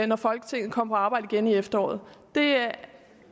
når folketinget kommer på arbejde igen i efteråret det